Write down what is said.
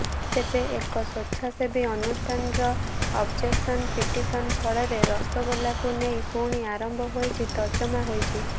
ତେବେ ଏକ ସ୍ବେଚ୍ଛାସେବୀ ଅନୁଷ୍ଠାନର ଅବଜେକ୍ସନ ପିଟିସନ ଫଳରେ ରସଗୋଲାକୁ ନେଇ ପୁଣି ଆରମ୍ଭ ହୋଇଛି ତର୍ଜମା ହୋଇଛି